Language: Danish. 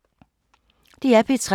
DR P3